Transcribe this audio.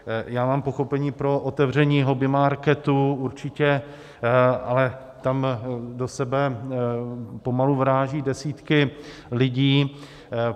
Já mám pochopení pro otevření hobby marketů, určitě, ale tam do sebe pomalu vrážejí desítky lidí.